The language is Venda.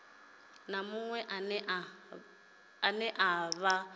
na muṅwe ane a vha